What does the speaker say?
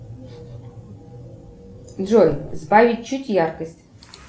джой сбавить чуть яркость